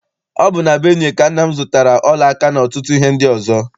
Ọ bụ na Benue ka nna m zụtara ọla aka n'ọtụtụ ihe ndị ọzọ.